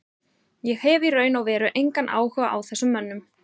Ég hef í raun og veru engan áhuga á þessum mönnum.